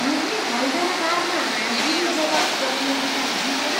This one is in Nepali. मैले हैदराबादमा हाजिरीजवाब प्रतियोगिता जितेर